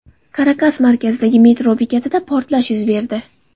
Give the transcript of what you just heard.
Karakas markazidagi metro bekatida portlash yuz berdi.